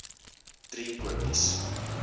driekopies